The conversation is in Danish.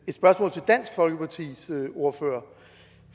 et spørgsmål til dansk folkepartis ordfører